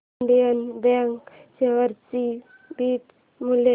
Indian Bank share चे beta मूल्य